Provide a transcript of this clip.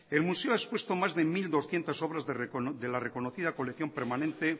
el museo ha expuesto más de mil doscientos obras de la reconocida colección permanente